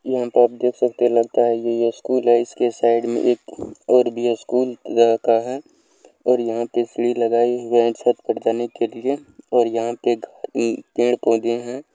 यहा पे आप देख सकते हे लगता हे यह स्कुल हे इसके साईड में एक ओर भी स्कुल जाता है ओर यहां पे सीढ़ी लगायी वह छत पर जाने के लिए ओर यहां पे एक ई पेड़-पौधे है।